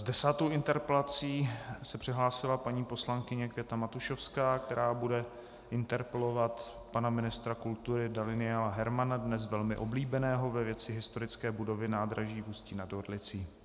S desátou interpelací se přihlásila paní poslankyně Květa Matušovská, která bude interpelovat pana ministra kultury Daniela Hermana, dnes velmi oblíbeného, ve věci historické budovy nádraží v Ústí nad Orlicí.